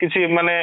କିଛି ମାନେ